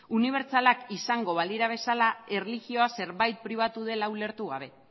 unibertsalak izango balira bezala erlijioa zerbait pribatua dela ulertu gabe